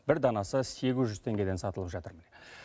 бір данасы сегіз жүз теңгеден сатылып жатыр